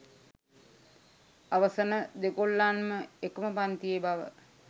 අවසන දෙගොල්ලන්ම එකම පන්තියේ බව